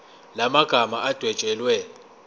la magama adwetshelwe